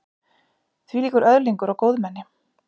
Þvílíkur öðlingur og góðmenni.